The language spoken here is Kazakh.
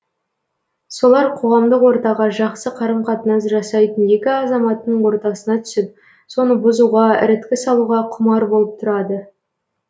солар қоғамдық ортаға жақсы қарым қатынас жасайтын екі азаматтың ортасына түсіп соны бұзуға іріткі салуға құмар болып тұрады